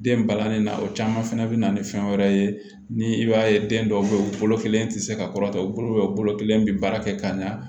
Den balani na o caman fɛnɛ be na ni fɛn wɛrɛ ye ni i b'a ye den dɔw be yen u bolo kelen te se ka kɔrɔta u bolo u bolo kelen bi baara kɛ ka ɲa